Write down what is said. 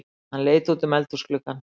Hann leit útum eldhúsgluggann.